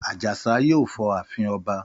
Àjàsá yóò fọ ààfin ọba.